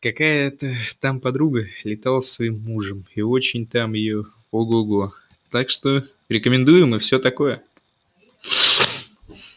какая-то там подруга летала своим мужем и очень там её ого-го так что рекомендуем и все такое